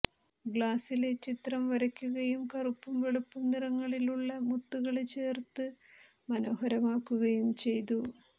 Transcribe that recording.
ഗ്ലാസില് ചിത്രം വരയ്ക്കുകയും കറുപ്പും വെളുപ്പും നിറങ്ങളിലുള്ള മുത്തുകള് ചേര്ത്ത് മനോഹരമാക്കുകയും ചെയ്തു